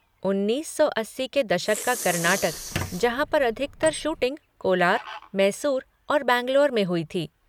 उन्नीस सौ अस्सी के दशक का कर्नाटक जहाँ पर अधिकतर शूटिंग कोलार, मैसूर और बैंगलोर में हुई थी।